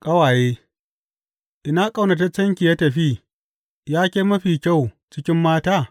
Ƙawaye Ina ƙaunataccenki ya tafi, yake mafiya kyau cikin mata?